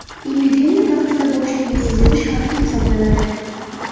Epidemiya vaqtida bosh kiyimsiz yurish xavfli hisoblanadi.